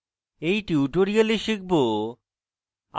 in tutorial শিখব